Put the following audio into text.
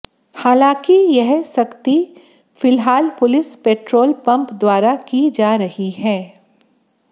हालांकि यह सख्ती फिलहाल पुलिस पेट्रोल पंप द्वारा की जा रही है